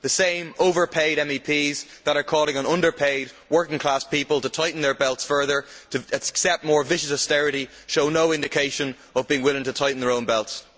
The same overpaid MEPs that are calling on underpaid working class people to tighten their belts further, to accept more vicious austerity, show no indication of being willing to tighten their own belts.